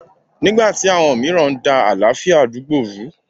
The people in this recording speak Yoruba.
Nígbà tí àwọn mìíràn ń da àlàáfíà àdúgbò rú.